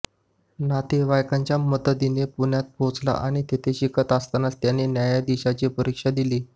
नातेवाईकांच्या मदतीने पुण्यात पोहोचला आणि तेथे शिकत असतानाच त्याने न्यायाधीशाची परीक्षा दिली